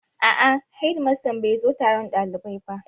A'a, hedimastan bai zo taron ɗalibai ba